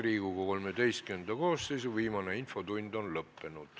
Riigikogu XIII koosseisu viimane infotund on lõppenud.